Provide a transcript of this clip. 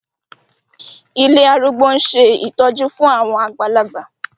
Ilé arúgbó ń ṣe ìtọ́jú fún àwọn àgbàlagbà